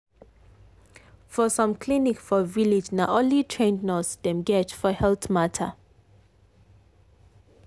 for some clinic for village na only trained nurse dem get for health matter.